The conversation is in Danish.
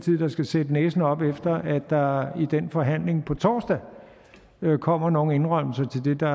der skal sætte næsen op efter at der i den forhandling på torsdag kommer nogle indrømmelser til det der